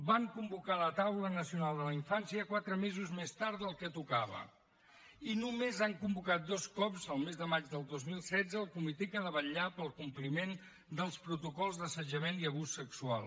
van convocar la taula nacional de la infància quatre mesos més tard del que tocava i només han convocat dos cops el mes de maig del dos mil setze el comitè que ha de vetllar pel compliment dels protocols d’assetjament i abús sexual